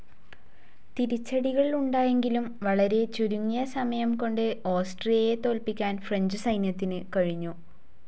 തിരിച്ചടികൾ ഉണ്ടായെങ്കിലും വളരെ ചുരുങ്ങിയ സമയം കൊണ്ട് ഓസ്ട്രിയയെ തോല്പിക്കാൻ ഫ്രഞ്ച്‌ സൈന്യത്തിനു കഴിഞ്ഞു.